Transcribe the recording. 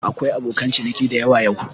Akwai abokan ciniki dayawa yau.